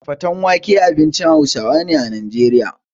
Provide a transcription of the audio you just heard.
Fatan wake abincin Hausawa ne a Najeriya.